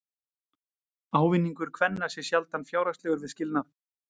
Ávinningur kvenna sé sjaldan fjárhagslegur við skilnað.